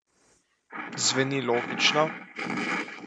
Zveni logično?